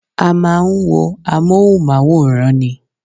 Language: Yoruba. A máa ń wo amóhùnmáwòrán ni